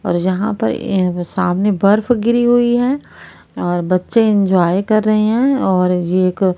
और यहां पर एक सामने बर्फ गिरी हुई है और बच्चे एंजॉय कर रहे हैं और ये एक--